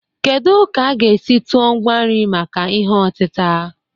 Kedu ka a ga-esi tụọ ngwa nri maka ihe otita?